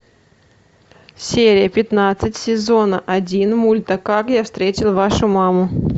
серия пятнадцать сезона один мульта как я встретил вашу маму